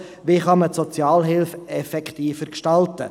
Wie kann man die Sozialhilfe effektiver gestalten?